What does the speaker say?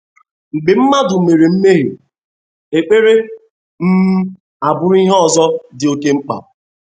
Mgbe mmadụ mere mmehie, ekpere um abụrụ ihe ozo di oke mkpa